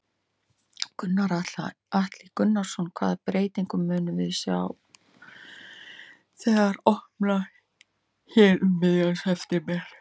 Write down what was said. Gunnar Atli Gunnarsson: Hvaða breytingu munum við sjá þegar þetta opnar hérna um miðjan september?